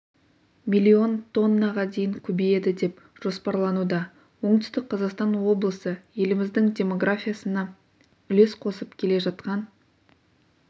миллион тоннаға дейін көбейеді деп жоспарлануда оңтүстік қазақстан облысы еліміздің демографиясына үлес қосып келе жатқан